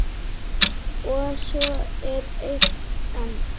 Og svo er eitt enn.